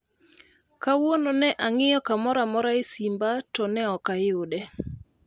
Kawuono ne ang'iyo kamoro amora e simba to ne ok ayude